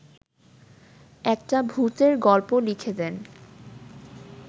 একটা ভূতের গল্প লিখে দেন